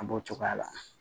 An b'o cogoya la